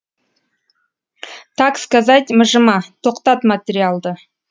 так сказать мыжыма тоқтат материалды